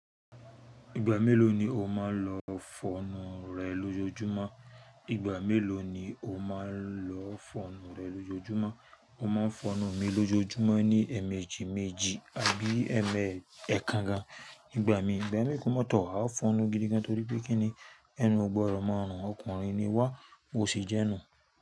Ìgbà mélòó ni o máa ń lọ fọnu rẹ lójoójúmọ́? Ìgbà mélòó ni o máa ń lọ fọnu rẹ lójoójúmọ́? Mo máa ń fọnù mi lójoójúmọ́ ní ẹ́ẹ̀mejì méjì àbí ẹ́mẹ́ẹ̀ ẹ́kànga nìgbà mí. Ìgbà mi ìkómọ́tọ̀, a ó fọnù gidi gan torí pé kíni ẹnu ọgbọ́ ọrọ̀ máa ń rùn. Ọkùnrin ni wá, bo sì jẹ́ nù.